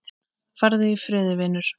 Farðu í friði, vinur.